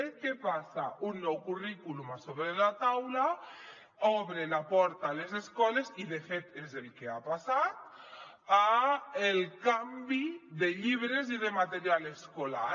què passa un nou currículum a sobre la taula obre la porta a les escoles i de fet és el que ha passat al canvi de llibres i de material escolar